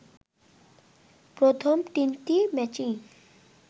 প্রথম তিনটি ম্যাচই